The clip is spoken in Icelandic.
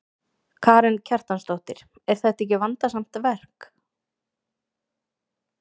Karen Kjartansdóttir: Er þetta ekki vandasamt verk?